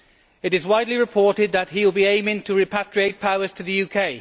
It is widely reported that he will be aiming to repatriate powers to the UK.